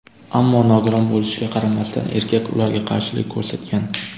Ammo nogiron bo‘lishiga qaramasdan erkak ularga qarshilik ko‘rsatgan.